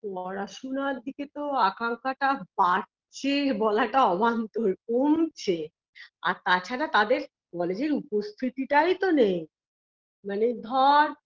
পড়াশুনার দিকে তো আকাঙ্ক্ষাটা বাড়ছে বলাটা অবান্তর কমছে আর তাছাড়া তাদের college -এর উপস্থিতিটাই তো নেই মানে ধর